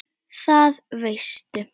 Það veistu